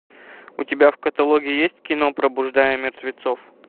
у тебя в каталоге есть кино пробуждая мертвецов